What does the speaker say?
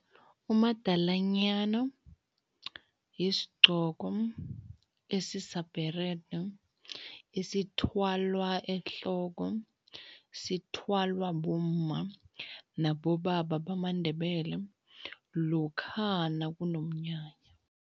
Umadalanyana yisigqoko esisabherede esithwalwa ehloko, sithwalwa bomma nabobaba bamaNdebele lokha nakunomnyanya.